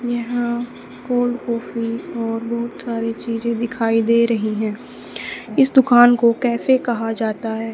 यहां cold coffee और बहुत सारी चीजे दिखाई दे रही है इस दुकान को कैफे कहा जाता है।